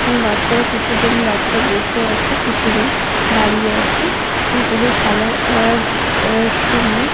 এবং বাচ্চারা কিছুজন বাচ্চা বসে আছে কিছুজন দাঁড়িয়ে আছে ও এদের খেলার অ্যা অ্যা সময়--